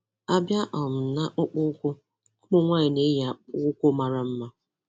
A bịa um n'akpụkpọ ụkwụ, ụmụ nwaanyị na-eyi akpụkpọ ụkwụ mara mma.